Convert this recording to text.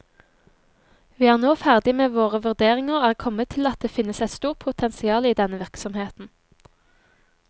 Vi er nå ferdige med våre vurderinger og er kommet til at det finnes et stort potensial i denne virksomheten.